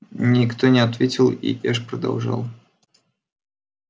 никто не ответил и эш продолжал